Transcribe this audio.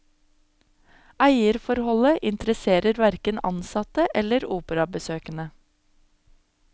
Eierforholdet interesserer hverken ansatte eller operabesøkende.